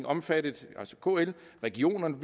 omfattet altså kl og regionerne